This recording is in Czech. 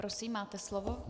Prosím, máte slovo.